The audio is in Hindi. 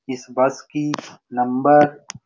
इस बस की नम्ब --